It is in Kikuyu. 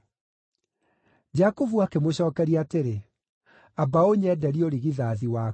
Jakubu akĩmũcookeria atĩrĩ, “Amba ũnyenderie ũrigithathi waku!”